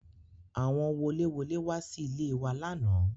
Àwọn woléwolé wá sí ilé e wa lánàá